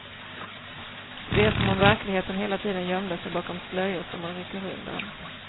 Det är som om verkligheten hela tiden gömde sig bakom slöjor som man rycker undan.